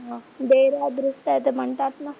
ते म्हणतात ना,